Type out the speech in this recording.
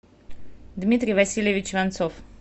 дмитрий васильевич иванцов